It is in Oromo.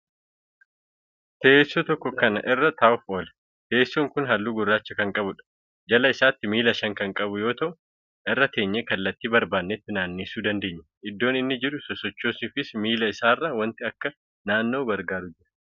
Teessoo tokko Kan irra taa'uuf ooludha. Teessoo Kuni halluu gurracha Kan qabuudha. jala isaatti miila Shan Kan qabu yoo ta'u irra teenyee kallattii barbaannetti naannessuu dandeenya. Iddoo inni jiruu sochoosuufis miila isaarra wanti Akka naanna'u gargaaru Jira.